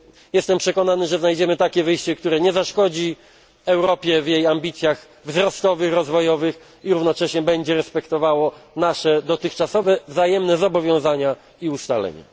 Jestem przekonany, że znajdziemy takie wyjście, które nie zaszkodzi Europie w jej ambicjach wzrostowych, rozwojowych i równocześnie będzie respektowało nasze dotychczasowe wzajemne zobowiązania i ustalenia.